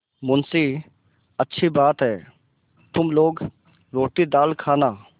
मुंशीअच्छी बात है तुम लोग रोटीदाल खाना